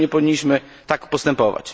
Myślę, że nie powinniśmy tak postępować.